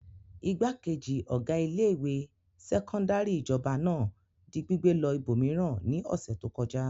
Ìgbákejì ọ̀gá ilé-ìwé sẹ́kọ́ndárì ìjọba náà di gbígbé lọ ibòmíràn ní ọ̀sẹ̀ tó kọjá.